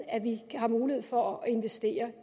at vi har mulighed for at investere